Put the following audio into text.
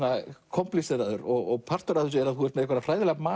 komplexeraður og partur af þessu að þú ert með einhverja